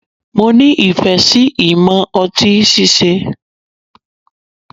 Mo nifẹ si imọ ọti síse